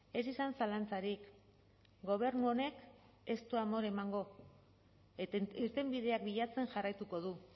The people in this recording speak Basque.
ez izan zalantzarik gobernu honek ez du amore emango irtenbideak bilatzen jarraituko du